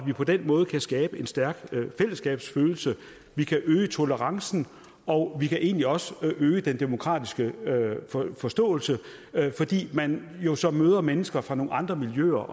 vi på den måde kan skabe en stærk fællesskabsfølelse øge tolerancen og egentlig også øge den demokratiske forståelse fordi man jo så møder mennesker fra nogle andre miljøer